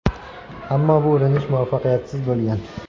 Ammo bu urinish muvaffaqiyatsiz bo‘lgan.